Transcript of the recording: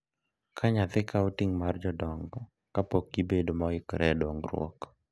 Ka nyathi kawo ting’ mag jodongo kapok gibedo moikore e dongruok.